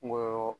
Kungolo